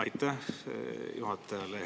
Aitäh juhatajale!